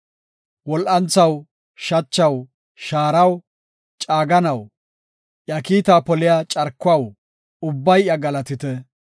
Wol7anthaw, shachaw, shaaraw, caaganaw, iya kiita poliya carkuwaw, ubbay iya galatite.